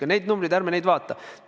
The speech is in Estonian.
Aga neid numbreid ärme vaatame.